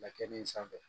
Lakini in sanfɛ